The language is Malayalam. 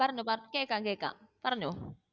പറഞ്ഞോ ബാക്കി കേൾക്കാം കേൾക്കാം പറഞ്ഞോ